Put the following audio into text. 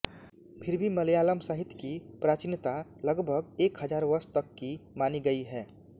फिर भी मलयालम् साहित्य की प्राचीनता लगभग एक हजार वर्ष तक की मानी गई हैं